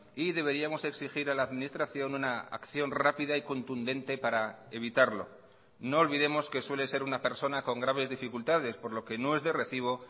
y deberíamos exigir a la administración una acción rápida y contundente para evitarlo no olvidemos que suele ser una persona con graves dificultades por lo que no es de recibo